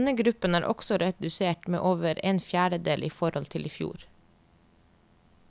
Denne gruppen er også redusert med over en fjerdedel i forhold til i fjor.